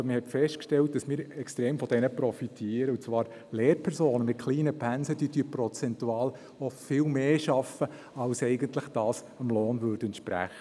Man hat festgestellt, dass wir extrem von ihnen profitieren, und zwar: Lehrpersonen mit kleinen Pensen arbeiten prozentual viel mehr als das, was ihrem Lohn entspräche.